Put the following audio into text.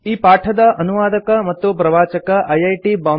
ಈ ಪಾಠದ ಅನುವಾದಕ ಮತ್ತು ಪ್ರವಾಚಕ ಐಐಟಿ